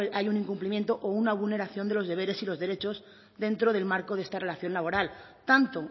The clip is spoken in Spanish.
hay un incumplimiento o una vulneración de los deberes y los derechos dentro del marco de esta relación laboral tanto